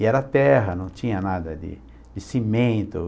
E era terra, não tinha nada de de cimento.